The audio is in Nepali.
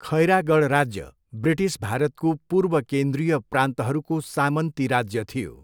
खैरागढ राज्य ब्रिटिस भारतको पूर्व केन्द्रीय प्रान्तहरूको सामन्ती राज्य थियो।